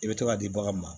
I bɛ to ka di baganw ma